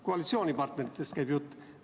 Koalitsioonipartneritest käib jutt.